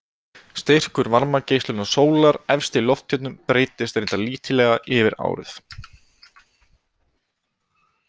Styrkur varmageislunar sólar efst í lofthjúpnum breytist reyndar lítillega yfir árið.